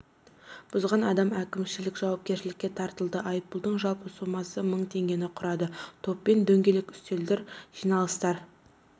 бұзған адам әкімшілік жауапкершілікке тартылды айыппұлдың жалпы соммасы мың теңгені құрады топпен дөңгелек үстелдер жиналыстар